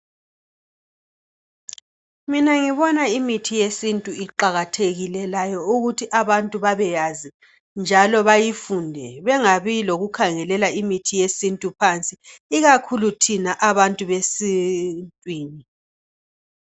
Mina ngibona imithi yesintu iqakathekile layo ukuthi abantu babeyazi njalo bayifundele bengabi lokukhangelela imithi yesintu phansi ikakhulu thina abantu besintwini.